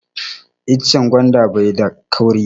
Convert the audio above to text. Icen gwanda bai da kauri